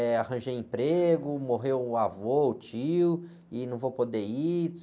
Eh, arranjei emprego, morreu um avô, o tio, e não vou poder ir.